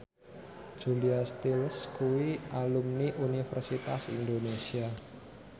Julia Stiles kuwi alumni Universitas Indonesia